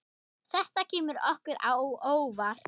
Þetta kemur okkur á óvart.